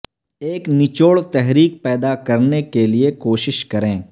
ایک نچوڑ تحریک پیدا کرنے کے لئے کوشش کریں